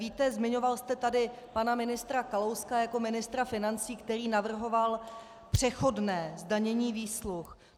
Víte, zmiňoval jste tady pana ministra Kalouska jako ministra financí, který navrhoval přechodné zdanění výsluh.